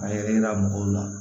A yɛrɛ yira mɔgɔw la